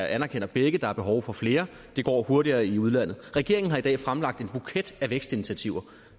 anerkender begge at der er behov for flere det går hurtigere i udlandet regeringen har i dag fremlagt en buket af vækstinitiativer